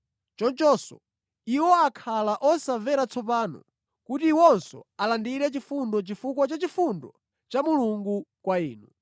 Chonchonso iwo akhala osamvera tsopano kuti iwonso alandire chifundo chifukwa cha chifundo cha Mulungu kwa inu.